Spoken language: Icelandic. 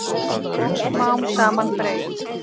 Og smám saman breyt